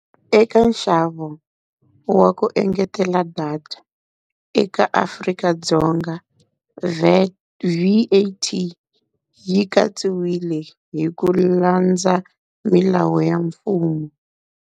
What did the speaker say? Eka nxavo wa ku engetela data eka Afrika-Dzonga VAT, V_A_T, yi katsiwile hi ku landza milawu ya mfumo.